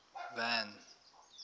van